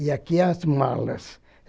E aqui é as malas.